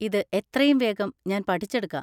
ഇത് എത്രയും വേഗം ഞാൻ പഠിച്ചെടുക്കാം.